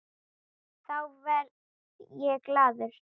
Þá verð ég glaður.